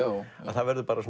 að það verður